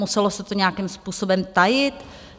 Muselo se to nějakým způsobem tajit?